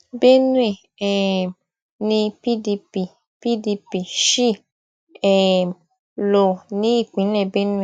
benue um ni pdp pdp ṣì um lò ní ìpínlẹ benue